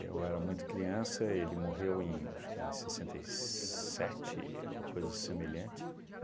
Eu era muito criança, ele morreu em, acho que em sessenta e sete, ou coisa semelhante.